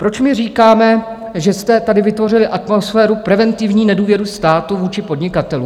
Proč my říkáme, že jste tady vytvořili atmosféru preventivní nedůvěry státu vůči podnikatelům?